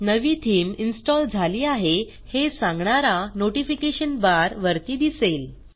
नवी theme install झाली आहे हे सांगणारा नोटिफिकेशन बार वरती दिसेल